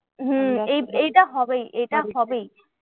হম এই এইটা হবেই এইটা হবেই।